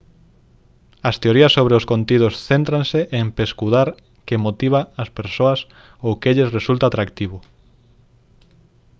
as teorías sobre os contidos céntranse en pescudar que motiva ás persoas ou que lles resulta atractivo